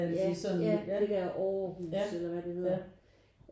Ja ja det der AARhus eller hvad det hedder